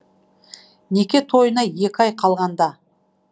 неке тойына екі ай қалғанда